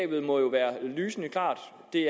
det